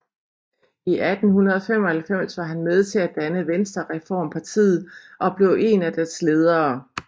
I 1895 var han med til at danne Venstrereformpartiet og blev én af dets ledere